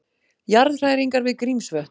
Jarðhræringar við Grímsvötn